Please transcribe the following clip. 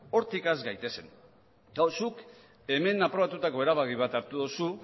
hortik has gaitezen gaur zuk hemen aprobatutako erabaki bat hartu duzu